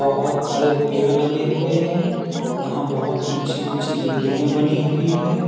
बहोत सारे पेड़ लगे हुए हैं यहां बहोत ऊंची ऊंची बिल्डिंगे बनी हुई हैं।